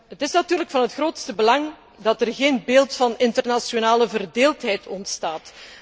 Het is natuurlijk van het grootste belang dat er geen beeld van internationale verdeeldheid ontstaat.